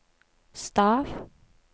stav